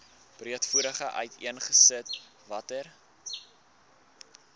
breedvoerig uiteengesit watter